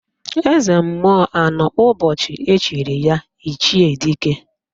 Eze mmụọ anọ ụbọchị echiri ya Ichie Dike?